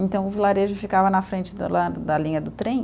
Então o vilarejo ficava na frente do lado da linha do trem.